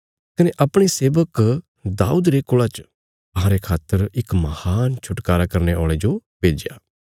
कने अपणे सेबक राजा दाऊद रे कुल़ा च अहांरे खातर इक महान छुटकारा करने औल़े जो भेज्या